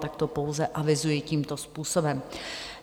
Tak to pouze avizuji tímto způsobem.